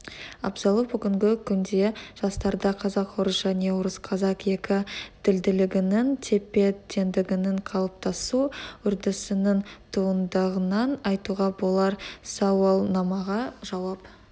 абзалы бүгінгі күнде жастарда қазақ-орыс және орысқазақ екі тілділігінің тепе-теңдігінің қалыптасу үрдісінің туындағанын айтуға болар сауалнамаға жауап